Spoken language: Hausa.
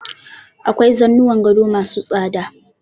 Akwai zanuwan gado ma su tsada.